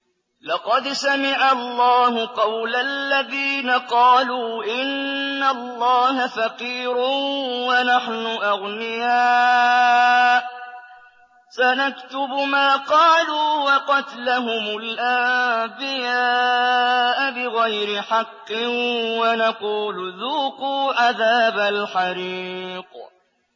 لَّقَدْ سَمِعَ اللَّهُ قَوْلَ الَّذِينَ قَالُوا إِنَّ اللَّهَ فَقِيرٌ وَنَحْنُ أَغْنِيَاءُ ۘ سَنَكْتُبُ مَا قَالُوا وَقَتْلَهُمُ الْأَنبِيَاءَ بِغَيْرِ حَقٍّ وَنَقُولُ ذُوقُوا عَذَابَ الْحَرِيقِ